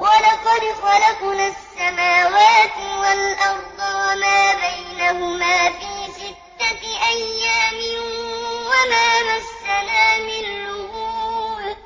وَلَقَدْ خَلَقْنَا السَّمَاوَاتِ وَالْأَرْضَ وَمَا بَيْنَهُمَا فِي سِتَّةِ أَيَّامٍ وَمَا مَسَّنَا مِن لُّغُوبٍ